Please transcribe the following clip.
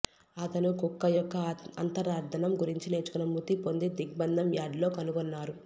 అతను కుక్క యొక్క అంతర్ధానం గురించి నేర్చుకొని మృతిపొంది దిగ్బంధం యార్డ్ లో కనుగొన్నారు